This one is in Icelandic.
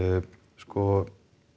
sko